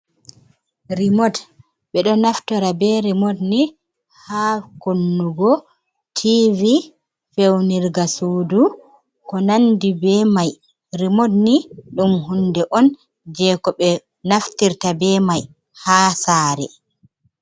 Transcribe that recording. Rimot, ɓeɗo naftira be rimot ni ha kunnugo tivi, feunirga sudu, ko nandi be mai. Rimot ni ɗum hunde on jei ko naftirta be mai ha sare.